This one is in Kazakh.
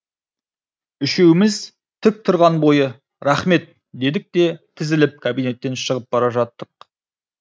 үшеуміз тік тұрған бойы рахмет дедік те тізіліп кабинеттен шығып бара жаттық